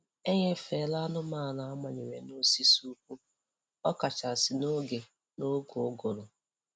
Eṅefala anụmanụ a manyere n'osisi ụkwụ, ọ kachasị n'oge n'oge ụgụrụ